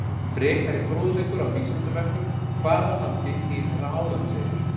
Frekari fróðleikur á Vísindavefnum Hvaða landi tilheyra Álandseyjar?